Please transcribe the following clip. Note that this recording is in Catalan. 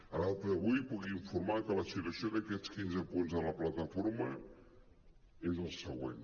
a data d’avui puc in·formar que la situació d’aquests quinze punts de la plataforma és el següent